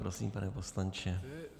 Prosím, pane poslanče.